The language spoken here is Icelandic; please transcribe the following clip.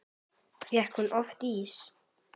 Fékk hún oft ís?